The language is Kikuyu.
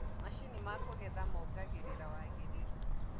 macinĩ ma kugetha mongagirira wagiriru